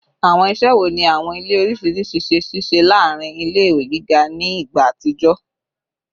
Awọn iṣẹ wo ni awọn ile oriṣiriṣi ṣe ṣiṣẹ laarin ile-iwe giga ni igba atijọ?